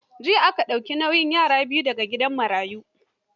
Jiya an dauki nauyin yara biyu da ga gidan marayu.